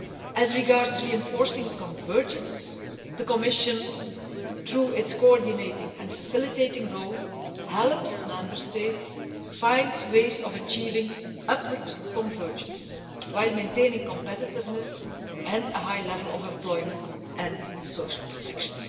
As regards reinforcing convergence, the Commission, through its coordinating and facilitating role, helps Member States find ways of achieving upward convergence whilst maintaining competitiveness and a high level of employment and social protection.